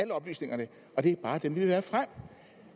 oplysningerne og det er bare dem vi vil at